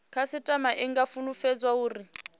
khasitama i nga fulufhedziswa uri